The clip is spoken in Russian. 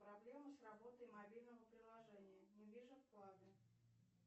проблемы с работой мобильного приложения не вижу вклады